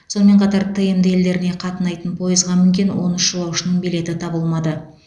сонымен қатар тмд елдеріне қатынайтын пойызға мінген он үш жолаушының билеті табылмады